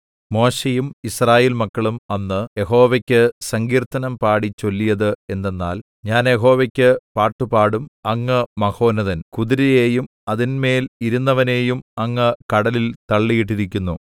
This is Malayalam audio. മോശെയും യിസ്രായേൽമക്കളും അന്ന് യഹോവയ്ക്ക് സങ്കീർത്തനം പാടി ചൊല്ലിയത് എന്തെന്നാൽ ഞാൻ യഹോവയ്ക്ക് പാട്ടുപാടും അങ്ങ് മഹോന്നതൻ കുതിരയെയും അതിന്മേൽ ഇരുന്നവനെയും അങ്ങ് കടലിൽ തള്ളിയിട്ടിരിക്കുന്നു